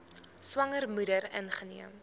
swanger moeder ingeneem